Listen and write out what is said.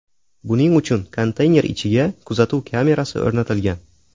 Buning uchun konteyner ichiga kuzatuv kamerasi o‘rnatilgan.